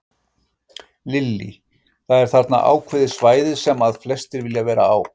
Lillý: Það er þarna ákveðið svæði sem að flestir vilja vera á?